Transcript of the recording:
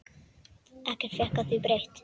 Ekkert fékk því breytt.